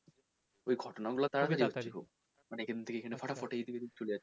ওই ঘটনাগুলো মানে এখান থেকে এখানে ফটা ফট